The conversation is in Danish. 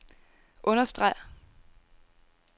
understreg